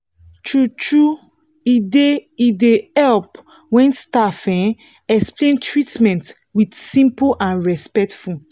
true-true e dey e dey help when staff um explain treatment with simple and respectful